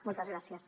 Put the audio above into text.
moltes gràcies